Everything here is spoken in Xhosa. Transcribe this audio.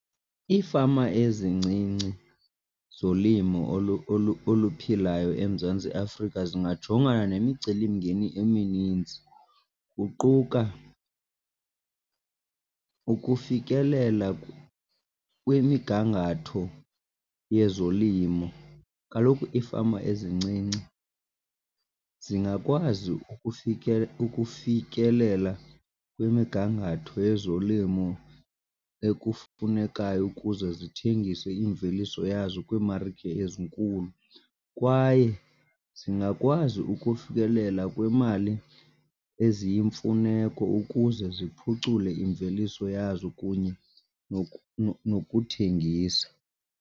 Iifama ezincinci zolimo oluphilayo eMzantsi Afrika zingajongana nemicelimngeni emininzi, kuquka ukufikelela kwimigangatho yezolimo. Kaloku iifama ezincinci zingakwazi ukufikelela kwimigangatho yezolimo ekufunekayo ukuze zithengise imveliso yazo kwiimarike ezinkulu kwaye zingakwazi ukufikelela kwimali eziyimfuneko ukuze ziphucule imveliso yazo kunye nokuthengisa.